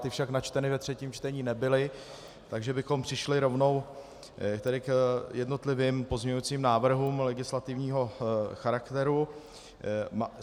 Ty však načteny ve třetím čtení nebyly, takže bychom přešli rovnou k jednotlivým pozměňujícím návrhům legislativního charakteru.